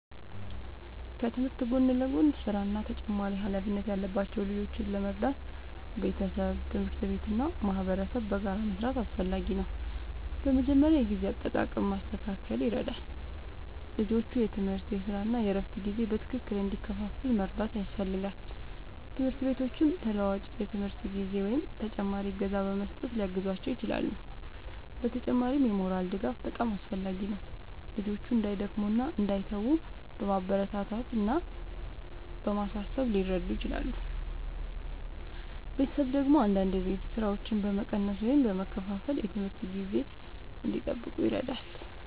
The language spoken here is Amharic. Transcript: ከትምህርት ጎን ለጎን ሥራ እና ተጨማሪ ኃላፊነት ያለባቸው ልጆችን ለመርዳት ቤተሰብ፣ ትምህርት ቤት እና ማህበረሰብ በጋራ መስራት አስፈላጊ ነው። በመጀመሪያ የጊዜ አጠቃቀም ማስተካከል ይረዳል፤ ልጆቹ የትምህርት፣ የሥራ እና የእረፍት ጊዜ በትክክል እንዲከፋፈል መርዳት ያስፈልጋል። ትምህርት ቤቶችም ተለዋዋጭ የትምህርት ጊዜ ወይም ተጨማሪ እገዛ በመስጠት ሊያግዟቸው ይችላሉ። በተጨማሪም የሞራል ድጋፍ በጣም አስፈላጊ ነው፤ ልጆቹ እንዳይደክሙ እና እንዳይተዉ በማበረታታት እና በማሳሰብ ሊረዱ ይችላሉ። ቤተሰብ ደግሞ አንዳንድ የቤት ሥራዎችን በመቀነስ ወይም በመከፋፈል የትምህርት ጊዜ እንዲጠብቁ ይረዳል።